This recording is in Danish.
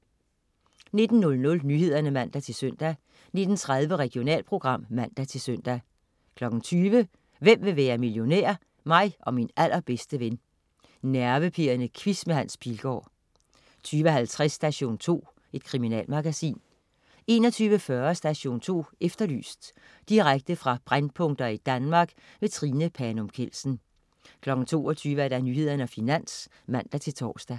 19.00 Nyhederne (man-søn) 19.30 Regionalprogram (man-søn) 20.00 Hvem vil være millionær? Mig og min allerbedste ven. Nervepirrende quiz med Hans Pilgaard 20.50 Station 2. Kriminalmagasin 21.40 Station 2 Efterlyst. Direkte fra brændpunkter i Danmark. Trine Panum Kjeldsen 22.00 Nyhederne og Finans (man-tors)